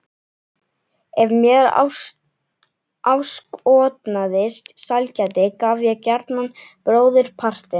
Ef mér áskotnaðist sælgæti gaf ég gjarnan bróðurpartinn.